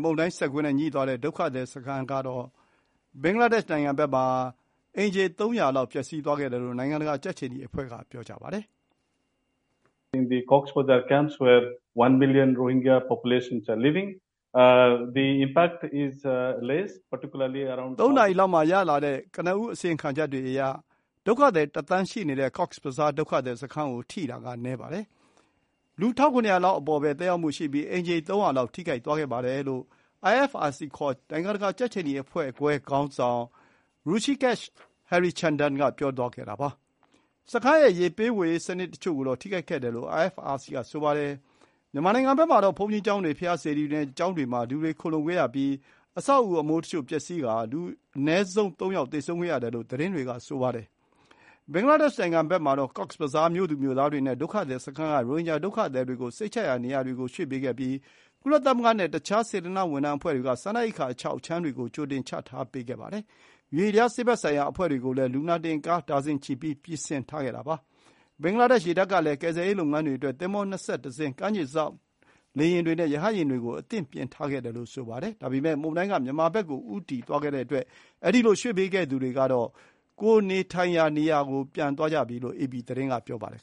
မုန်တိုင်း စက်ကွင်းနဲ့ငြိသွားတဲ့ ဒုက္ခသည်စခန်းကတော့ အိမ်ခြေ ၃၀၀ လောက် ပျက်စီးသွားခဲ့တယ်လို့ နိုင်ငံတကာ ကြက်ခြေနီအဖွဲ့ ပြောပါတယ်။ “၃ နာရီလောက်မှာရတဲ့ ကနဦးအစီရင်ခံချက်တွေအရ ဒုက္ခသည်တသန်း ရှိနေတဲ့ Cox's Bazar ဒုက္ခသည်စခန်းကို ထိတာက နည်းပါတယ်။ လူ ၁,၇၀၀ လောက်အပေါ်ပဲ သက်ရောက်မှုရှိပြီး အိမ်ခြေ ၃၀၀ လောက် ထိခိုက်သွားပါတယ်။” လို့ IFRC ခေါ် နိုင်ငံတကာ ကြက်ခြေနီအဖွဲ့ခွဲခေါင်းဆောင် Hrusikesh Harichandan က ပြောသွားတာပါ။ စခန်းရဲ့ ရေပေးရေးစနစ်တချို့ကိုတော့ ထိခိုက်ခဲ့တယ်လို့ IFRC က ဆိုပါတယ်။ မြန်မာနိုင်ငံဘက်မှာတော့ ဘုန်းကြီးကျောင်းတွေ၊ ဘုရားစေတီတွေနဲ့ ကျောင်းတွေ မှာ လူတွေခိုလှုံခဲ့ရပြီး အဆောက်အဦအမိုးတချို့ပျက်စီးကာ အနည်းဆုံးလူ ၃ ယောက် သေဆုံးခဲ့ရတယ်လို့ သတင်းတွေကဆိုပါတယ်။ ဘင်္ဂလားဒေ့ရှ်နိုင်ငံဘက်မှာတော့ Cox's Bazar မြို့သူမြို့သားတွေနဲ့ ဒုက္ခသည်စခန်း က ရိုဟင်ဂျာဒုက္ခသည်တွေကို စိတ်ချရတဲ့နေရာတွေကို ရွှေ့ပေးခဲ့ပြီး ကုလသမဂ္ဂနဲ့ တခြား စေတနာ့ဝန်ထမ်းအဖွဲ့တွေက စားနပ်ရိက္ခာအခြောက်အခြမ်းတွေကို ကြိုတင် ချထားပေးခဲ့ပါတယ်။ ရွေ့လျား ဆေးဘက်ဆိုင်ရာအဖွဲ့တွေကိုလည်း လူနာတင်ကားတွေ ဒါဇင်ချီပြီး ပြင်ဆင်ထားခဲ့တာပါ။ ဘင်္ဂလားဒေ့ရှ်ရေတပ်ကလည်း ကယ်ဆယ်ရေးလုပ်ငန်းတွေအတွက် သင်္ဘော ၂၁ စင်း၊ ကမ်းခြေစောင့် လေယာဉ်တွေနဲ့ရဟတ်ယာဉ်တွေကို အသင့်ပြင်ထားခဲ့တယ်လို့ ဆိုပါတယ်။ ဒါပေမဲ့ မုန်တိုင်းက မြန်မာဘက်ကို ဦးတည်သွားတဲ့အတွက် အဲဒီလို ရွှေ့ပေးခဲ့သူတွေကတော့ ကိုယ်နေထိုင်ရာနေရာတွေကို ပြန်သွားကြပြီလို့ အေပီသတင်း က ဆိုပါတယ်